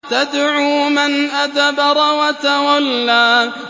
تَدْعُو مَنْ أَدْبَرَ وَتَوَلَّىٰ